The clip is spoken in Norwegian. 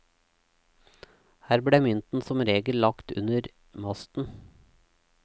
Her ble mynten som regel lagt under masten.